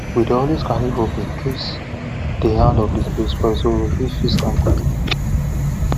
we dey always carry rope incase the hand of the spade spoil so we fit fix am quickly